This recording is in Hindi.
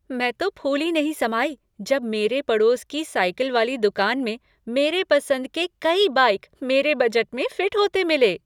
मैं तो फूली नहीं समाई जब मेरे पड़ोस की साइकिल वाली दुकान में मेरे पसंद के कई बाइक मेरे बजट में फ़िट होते मिले।